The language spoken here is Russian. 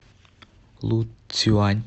луцюань